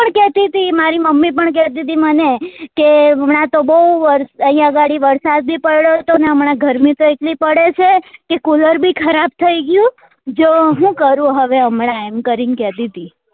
તી મારી મમ્મી પણ કેતી હતી કે હમણા તો બોઉ વરસાદ અહિયાં ઘડી વરસાદ બી પડ્યો હતો ને હમણાં ગરમી તો એટલી પડે છે કે cooler બી ખરાબ થઇ ગયું જો શું કરું હવે હમણાં એમ કરી ન કહેતી હતી